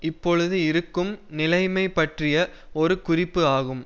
இப்பொழுது இருக்கும் நிலைமை பற்றிய ஒரு குறிப்பு ஆகும்